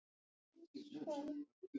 Meirihlutinn ók of hratt